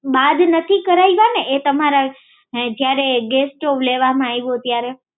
બાદ નથી કરાવ્યાને એ તમારા ગેસ સ્ટોવ લેવામાં આવ્યો ત્યારે